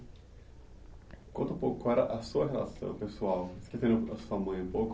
Conta um pouco qual era a sua relação pessoal, esquecendo a sua mãe um pouco,